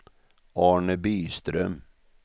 Arne Byström